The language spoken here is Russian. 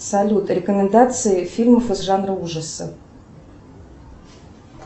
салют рекомендации фильмов из жанра ужасов